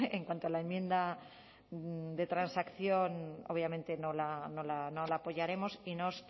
en cuanto a la enmienda de transacción obviamente no la apoyaremos y nos